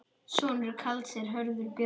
Sonur Karls er Hörður Björn.